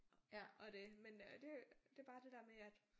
Og det men øh det det bare det der med at